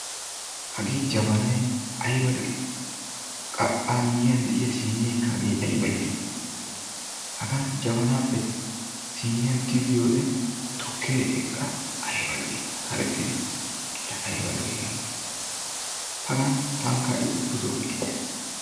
hagee jabanayi ayiba lo'i! qa amiyyiyan de'iyaa siineekka hagee ayiba lo'i! hagan jabanaappe siiniyan tigiyoodee tukkee eqqa ayiba lo'i karexxidi! laa ayiba lo"ii hagee! hagan tankka ubbatoo uyayis.